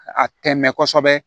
A tɛmɛn kɔsɛbɛ